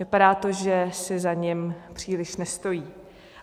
Vypadá to, že si za ním příliš nestojí.